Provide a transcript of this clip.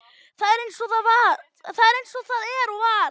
Það er eins og það er og var.